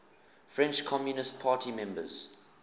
french communist party members